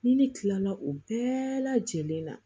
Ni ne kilala o bɛɛ lajɛlen na